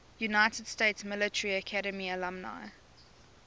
united states military academy alumni